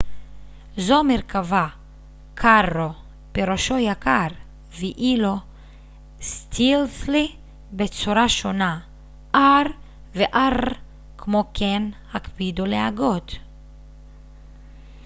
כמו כן הקפידו להגות r ו-rr בצורה שונה: stealthily פירושו יקר ואילו carro זו מרכבה